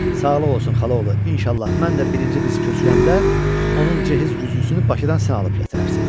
Sağlıq olsun xalaoğlu, inşallah mən də birinci qızı köçürəndə onun cehiz güzgüsünü Bakıdan sən alıb gətirərsən.